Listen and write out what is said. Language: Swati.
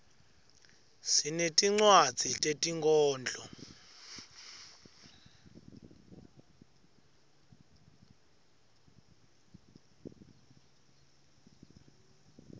sinetinwadzi tetinkhondlo